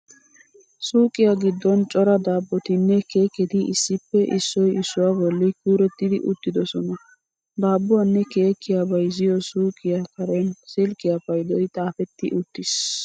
Suuqiyaa giddon cora daabbottinne keekketi issippe issoy issuwaa bolli kuurettidi uttidosona. Daabbuwaanne keekkiyaa bayziyo suuqiyaa Karen silkkiyaa paydoy xaafetti uttiis.